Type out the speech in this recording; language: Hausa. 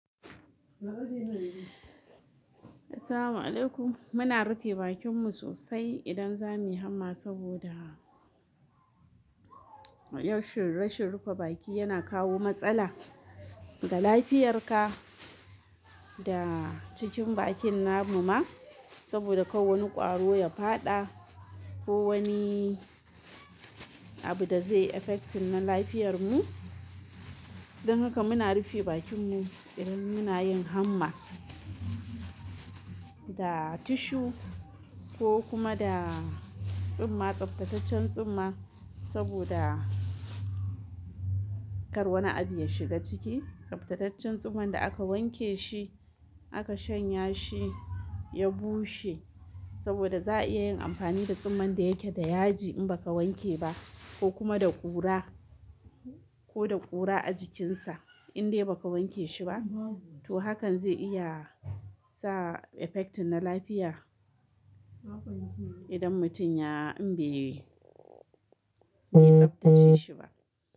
Assalamu alaikum. Muna rufe bakinmu sosai idan za mu yi hamma saboda, ra canshin, rashin rufe baki yana kawo matsala ga lafiyarka da cikin bakin namu ma. Saboda kar wani ƙwaro yafada ko wani abuda zai affecting na lafiyar mu don haka muna rufe bakinmu idan muna yin hamma. Da tissue ko kuma da tsumma tsaftacen tsumma saboda kar wani abu ya shiga ciki. Tsaftataccen tsumman da aka wanke shi, aka shanya shi, ya bushe. Saboda za'a iya yin amfani da tsumman da yake da yaji inbaka wanke ba kokuma da ƙura koda ƙura a jikin sa inbaka wanke shi ba to hakan zai iya sa affecting na lafiya idan mutum ya inbe tsaftace shi ba.